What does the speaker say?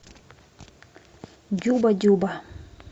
дюба дюба